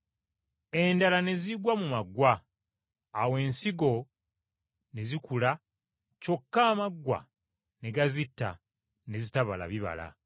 Endala ne zigwa mu maggwa. Awo ensigo ne zikula kyokka amaggwa ne gazitta ne zitabala bibala.